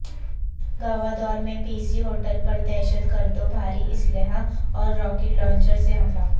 گوادور میں P C hotel پر دہشت گردوں بھاری اسلحے اور راکٹ لانچر سےحملہ